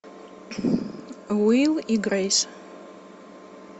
уилл и грейс